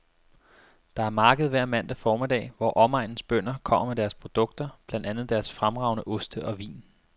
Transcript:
Der er marked hver mandag formiddag, hvor omegnens bønder kommer med deres produkter, blandt andet deres fremragende oste og vin.